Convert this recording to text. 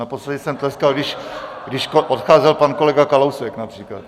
Naposledy jsem tleskal, když odcházel pan kolega Kalousek, například.